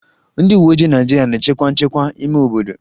Ndị uweojii Naịjirịa na-echekwa nchekwa ime obodo